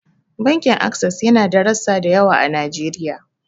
Bankin Ases yana da rassa da yawa a Najeriya.